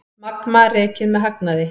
Magma rekið með hagnaði